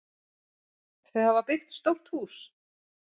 Þau hafa byggt stórt hús.